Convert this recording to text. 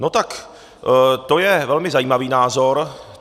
No tak to je velmi zajímavý názor.